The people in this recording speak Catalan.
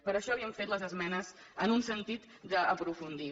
per això li hem fet les esmenes en un sentit d’aprofundir hi